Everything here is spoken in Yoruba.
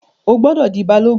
O gbọdọ̀ di Balogun.